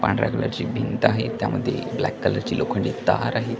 पांढऱ्या कलर ची भिंत आहे त्यामध्ये एक ब्लॅक कलर ची लोखंडी तार आहे.